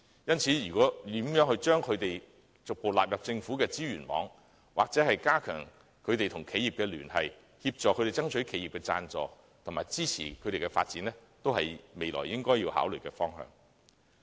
因此，如何將這些項目逐步納入政府的支援網，或加強有關團體與企業的聯繫，協助他們爭取企業的贊助和支持其發展，均是未來應該要考慮的方向。